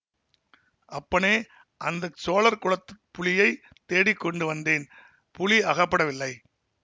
அப்பனே அந்த சோழர் குலத்துப் புலியைத் தேடிக் கொண்டு வந்தேன் புலி அகப்படவில்லை